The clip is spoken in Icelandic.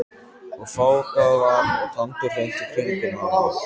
Og fágað var og tandurhreint í kringum hana.